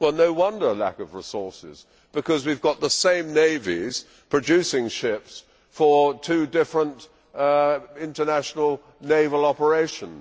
Well, no wonder there is a lack of resources because we have got the same navies producing ships for two different international naval operations.